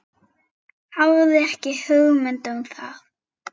Hafði ekki hugmynd um það.